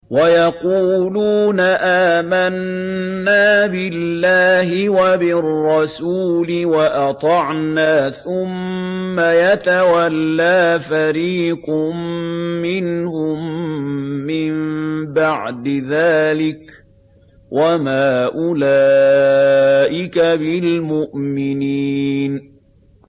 وَيَقُولُونَ آمَنَّا بِاللَّهِ وَبِالرَّسُولِ وَأَطَعْنَا ثُمَّ يَتَوَلَّىٰ فَرِيقٌ مِّنْهُم مِّن بَعْدِ ذَٰلِكَ ۚ وَمَا أُولَٰئِكَ بِالْمُؤْمِنِينَ